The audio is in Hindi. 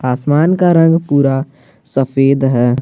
आसमान का रंग पूरा सफेद है।